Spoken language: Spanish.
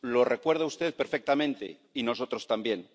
Lo recuerda usted perfectamente, y nosotros también.